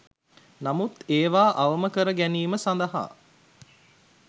නමුත් ඒවා අවම කර ගැනීම සඳහා